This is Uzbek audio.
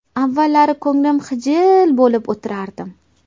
Avvallari ko‘nglim xijil bo‘lib o‘tirardim.